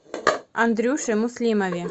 андрюше муслимове